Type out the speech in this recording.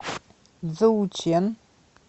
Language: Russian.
цзоучэн